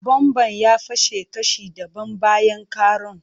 Bomban ya fashe kashi dabam bayan karon.